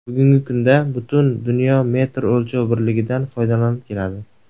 Bugungi kunda butun dunyo metr o‘lchov birligidan foydalanib keladi.